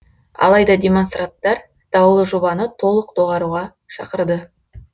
алайда демонстранттар даулы жобаны толық доғаруға шақырды